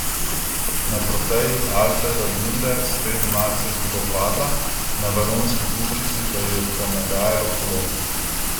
Na Trofeji Alfreda Binde sredi marca je hudo padla, na Valonski puščici pa ji je ponagajalo kolo.